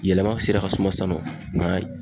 Yɛlɛma sera ka suma sisan nɔ n'a